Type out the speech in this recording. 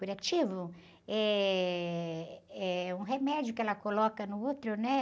Curativo eh, é um remédio que ela coloca no útero, né?